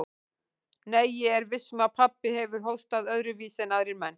Nei, ég er viss um að pabbi hefur hóstað öðruvísi en aðrir menn.